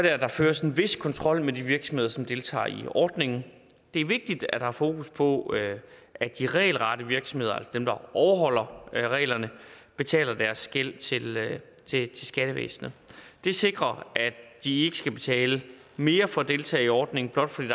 at der føres en vis kontrol med de virksomheder som deltager i ordningen det er vigtigt at der er fokus på at at de regelrette virksomheder altså dem der overholder reglerne betaler deres gæld til til skattevæsenet det sikrer at de ikke skal betale mere for at deltage i ordningen blot fordi